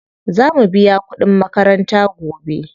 Za mu biya kuɗin makaranta gobe.